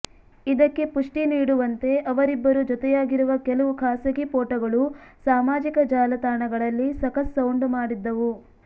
ಇದಕ್ಕೆ ಪುಷ್ಟಿ ನೀಡುವಂತೆ ಅವರಿಬ್ಬರು ಜೊತೆಯಾಗಿರುವ ಕೆಲವು ಖಾಸಗಿ ಫೋಟೋಗಳು ಸಾಮಾಜಿಕ ಜಾಲತಾಣಗಳಲ್ಲಿ ಸಖತ್ ಸೌಂಡು ಮಾಡಿದ್ದವು